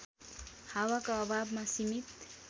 हावाका अभावमा सीमित